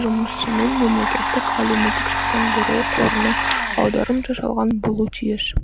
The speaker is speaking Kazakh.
жұмысшының мемлекеттік әлеуметтік сақтандыру қорына аударым жасалған болуы тиіс